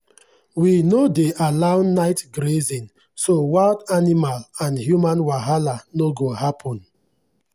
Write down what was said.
we no dey allow night grazing so wild animal and human wahala no go happen.